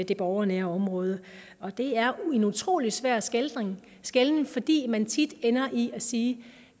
det borgernære område og det er en utrolig svær skelnen skelnen fordi man tit ender i at sige at